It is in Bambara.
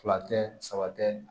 Fila tɛ saba tɛ